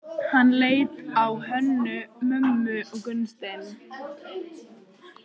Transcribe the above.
Hann leit á Hönnu-Mömmu og Gunnstein.